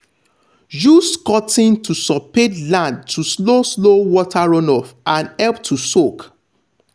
use cutting to soped land to slow slow water runoff and help to soak.